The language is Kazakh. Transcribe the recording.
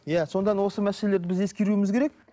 иә содан осы мәселелерді біз ескеруіміз керек